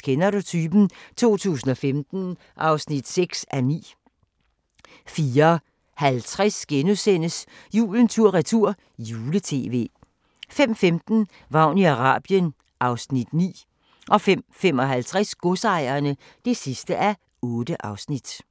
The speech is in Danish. Kender du typen? 2015 (6:9)* 04:50: Julen tur-retur - jule-tv * 05:15: Vagn i Arabien (Afs. 9) 05:55: Godsejerne (8:8)